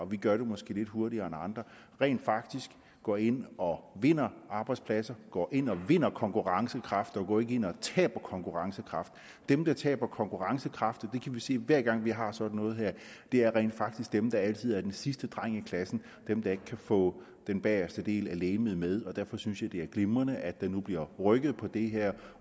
vi gør det måske lidt hurtigere end andre rent faktisk går ind og vinder arbejdspladser går ind og vinder konkurrencekraft og går ikke ind og taber konkurrencekraft dem der taber konkurrencekraft det kan vi se hver gang vi har sådan noget her er rent faktisk dem der altid er den sidste dreng i klassen og dem der ikke kan få den bageste del af legemet med og derfor synes jeg at det er glimrende at der nu bliver rykket på det her